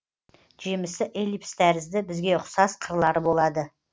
жемісі эллипс тәрізді бізге ұқсас қырлары болады